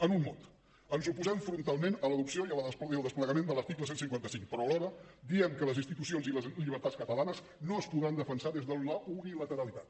en un mot ens oposem frontalment a l’adopció i al desplegament de l’article cent i cinquanta cinc però alhora diem que les institucions i les llibertats catalanes no es podran defensar des de la unilateralitat